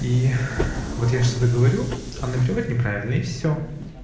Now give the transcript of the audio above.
и вот я что-то говорю она переводит неправильно и все